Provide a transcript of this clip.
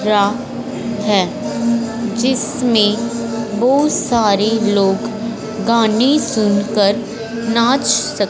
रा है जिसमें बहुत सारे लोग गाने सुनकर नाच सक--